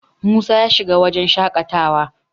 Musa ya shiga wajen shaƙatawa